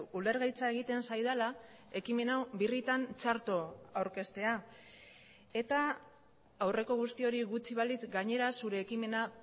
ulergaitza egiten zaidala ekimen hau birritan txarto aurkeztea eta aurreko guzti hori gutxi balitz gainera zure ekimena